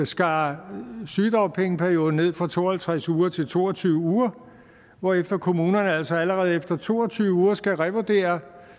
skar sygedagpengeperioden ned fra to og halvtreds uger til to og tyve uger hvorefter kommunerne altså allerede efter to og tyve uger skulle revurdere